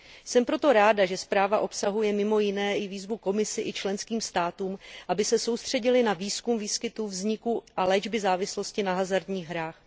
Jsem proto ráda, že zpráva obsahuje mimo jiné i výzvu Komisi i členským státům, aby se soustředily na výzkum výskytu, vzniku a léčby závislosti na hazardních hrách.